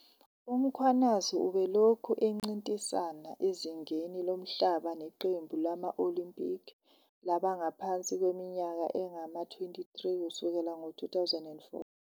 UMkhwanazi ubelokhu encintisana ezingeni lomhlaba neqembu lama-Olympic labangaphansi kweminyaka engama-23 kusukela ngo-2004.